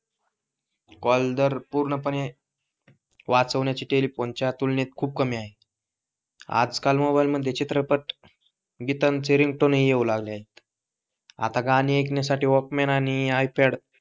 call दर पूर्णपणे वाचवण्याची टेलेफोनच्या तुलनेत खूप कमी आहे आजकाल मोबाइलला मध्ये चित्रपट गीतांचे रिंगटोनही येऊ लागले आहे आता गाणे ऐकण्यासाठी वलकमं आणि ipad